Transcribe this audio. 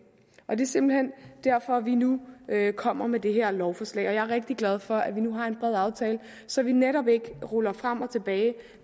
og det er simpelt hen derfor vi nu kommer med det her lovforslag jeg er rigtig glad for at vi nu har en bred aftale så vi netop ikke ruller det frem og tilbage